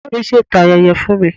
Màmá mi ṣètò ayẹyẹ fún mi